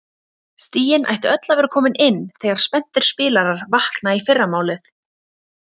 Stigin ættu öll að vera komin inn þegar spenntir spilarar vakna í fyrramálið.